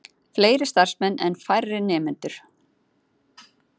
Fleiri starfsmenn en færri nemendur